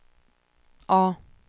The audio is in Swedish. A